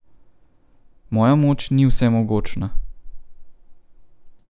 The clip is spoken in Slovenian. Moja moč ni vsemogočna.